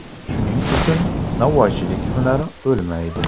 Shuning uchun novvoychilik hunari o‘lmaydi.